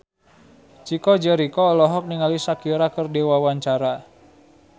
Chico Jericho olohok ningali Shakira keur diwawancara